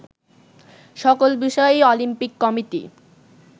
সকল বিষয়ই Olympic committee